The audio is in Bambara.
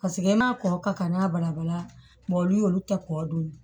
Paseke e ma kɔkɔ ka kan n'a balabala olu y'olu ta kɔ don